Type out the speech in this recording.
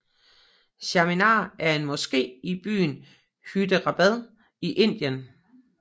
Charminar er en moské i byen Hyderabad i Indien